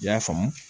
I y'a faamu